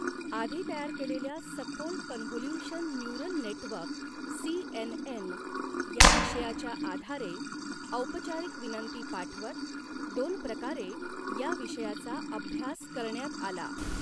आधी तयार केलेल्या सखोल convolution neural network C N N या विषयाच्या आधारे औपचारीक विनंती पाठवत दोन प्रकारे या विषय़ाचा अभ्यास करण्यात आला.